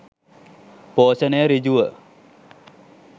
පෝෂණය සෘජුව